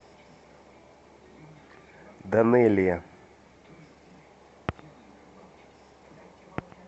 данелия